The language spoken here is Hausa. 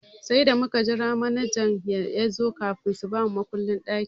Sai da muka jira manajan yazo kafin suka ba mu makullin ɗakin.